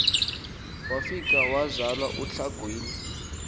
wafika wazala untlangwini